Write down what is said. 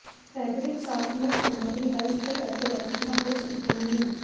fabric softener ਸਾਮੱਗਰੀ ਅਸਥਿਰ ਅਤੇ ਵੱਖਰੀਆਂ ਹੋ ਸਕਦੀਆਂ ਹਨ